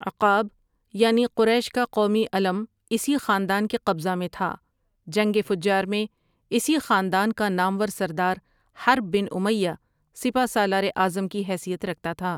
عقاب یعنی قریش کا قومی علم اسی خاندان کے قبضہ میں تھا، جنگ فجار میں اسی خاندان کا نامور سردار حرب بن امیہ سپہ سالار اعظم کی حیثیت رکھتا تھا۔